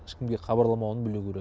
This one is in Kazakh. ешкімге хабарламауын білу керек